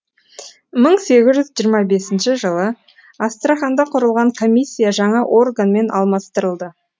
мың сегіз жүз жиырма бесінші жылы астраханда құрылған комиссия жаңа органмен алмастырылды